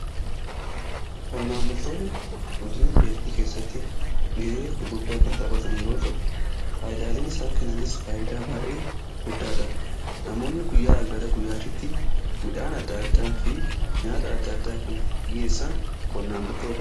qonnaan bultoonni guddina biyyatii keessatti ga'ee gurguddaa kan xaphatan yeroo ta'u faayidaaleen isaan kennanis faayidaa baa'ee guddaadha. namoonni guyyaaa gara guyyaatitti midhaan adda addaa fi nyaata adda addaa kan dhiyyeessan qonnaan bultootadha.